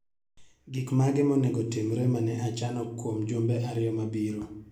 Gik mage ma onego otimre mane achano kwom jumbe ariyo mabiro?